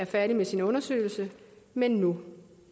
færdig med sin undersøgelse men nu